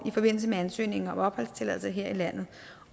i forbindelse med ansøgningen om opholdstilladelse her i landet